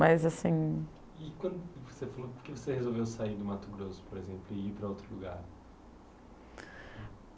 Mas assim... E quando você falou que você resolveu sair do Mato Grosso, por exemplo, e ir para outro lugar.